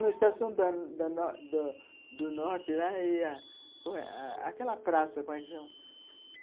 No Estação da da do Norte, lá ia... Aquela praça, como é que chama?